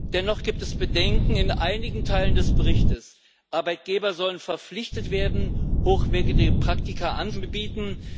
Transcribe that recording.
Dennoch gibt es Bedenken in einigen Teilen des Berichts. Die Arbeitgeber sollen verpflichtet werden, hochwertige Praktika anzubieten.